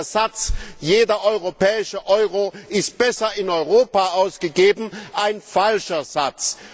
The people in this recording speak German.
Und da ist der Satz Jeder europäische Euro ist besser in Europa ausgegeben ein falscher Satz!